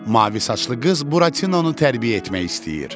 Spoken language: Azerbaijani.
Mavi saçlı qız Buratinonu tərbiyə etmək istəyir.